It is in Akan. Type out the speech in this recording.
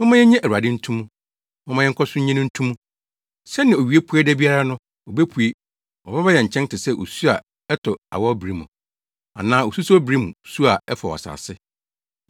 Momma yennye Awurade nto mu; momma yɛnkɔ so nnye no nto mu. Sɛnea owia pue da biara no, obepue; ɔbɛba yɛn nkyɛn te sɛ osu a ɛtɔ awɔwbere mu anaa asusow bere mu su a ɛfɔw asase.”